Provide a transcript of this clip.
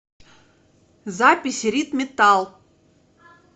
запись рид металл